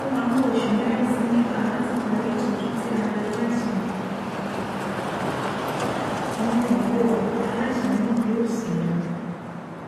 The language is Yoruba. ó máa tó oṣùmẹrin sí mẹfà láti parí ìtọjú tí ara aláìsàn náà yóò aláìsàn náà yóò sì yá